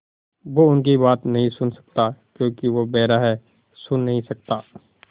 वो उनकी बात नहीं सुन सकता क्योंकि वो बेहरा है सुन नहीं सकता